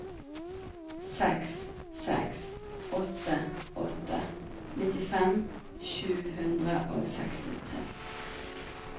seks seks åtte åtte nittifem sju hundre og sekstitre